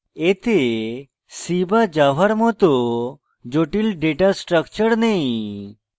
এতে c বা java এর it জটিল ডেটা স্ট্রাকচার নেই